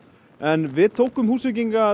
en við tókum Húsvíkinga